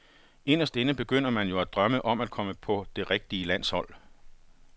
Inderst inde begynder man jo at drømme om at komme på det rigtige landshold.